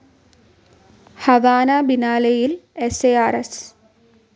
Havana ബിനാലെയിൽ സ്‌ അ ആർ സ്‌